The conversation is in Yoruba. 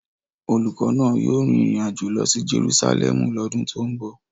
Olùkọ́ náà yóò rin ìrìn àjò lọ sí Jerusalẹmu lọ́dún tó ń bọ̀.